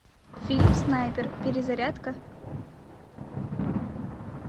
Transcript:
фильм снайпер перезарядка